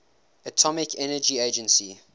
atomic energy agency